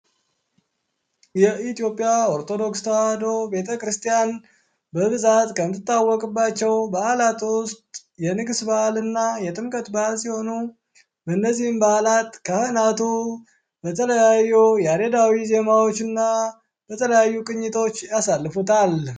የኢትዮጵያ ኦርቶዶክስ ተዋሕዶ ቤተክርስቲያን በብዛት ከምትታወቅባቸው በዓላት ውስጥ የንግስ በዓላት እና የጥምቀት በዓላት ሲሆኑ በእነዚህም በዓላት ካህናቱ በተለያዩ ያሬዳዊ ዜማዎች እና በተለያዩ ቅኝቶች ያሳልፉታል።